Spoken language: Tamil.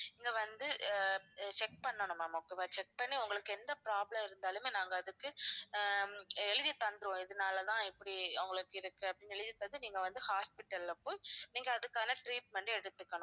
நீங்க வந்து அஹ் check பண்ணனும் ma'am okay வா check பண்ணி உங்களுக்கு எந்த problem இருந்தாலுமே நாங்க அதுக்கு ஆஹ் எழுதி தந்திடுவோம் இதனால தான் இப்படி உங்களுக்கு இருக்கு அப்படினு எழுதி தந்து நீங்க வந்து hospital ல போய் நீங்க அதுக்கான treatment எடுத்துக்கணும்